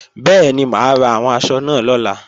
Bẹ́ẹ̀ni, mà á ra àwọn aṣọ náà lọ́la